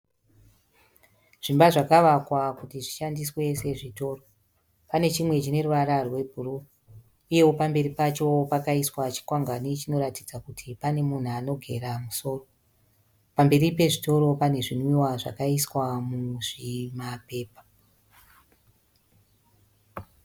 Zvimba zvakavakwa kuti zvishandiswe sezvitoro. Pane chimwe chine ruvara rwebhuruu uyewo pamberi pacho pakaiswa chikwangwani chinoratidza kuti pane munhu anogera musoro. Pamberi pezvitoro pane zvinwiwa zvakaiswa muzvimapepa.